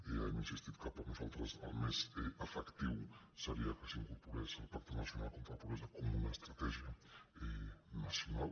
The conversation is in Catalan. ja hem insistit que per nosaltres el més efectiu seria que s’incorporés al pacte nacional contra la pobresa com una estratègia nacional